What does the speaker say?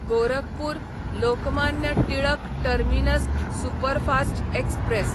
Gorakhpur Lokmanya Tilak terminus superfast express